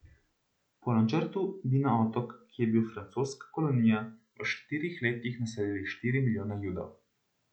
Po načrtu bi na otok, ki je bil francoska kolonija, v štirih letih naselili štiri milijone Judov.